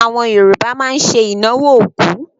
Àwọn Yorùbá máa ń ṣe ìnáwó òkú.